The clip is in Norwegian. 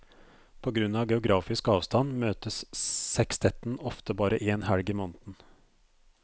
På grunn av geografisk avstand møtes sekstetten ofte bare én helg i måneden.